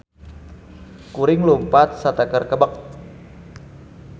Kuring lumpat sateker kebek